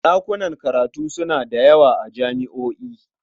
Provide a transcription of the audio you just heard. Ɗakunan karatu suna da yawa a jami'o'i.